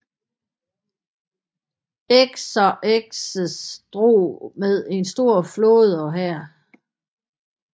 Xerxes drog med en stor flåde og hær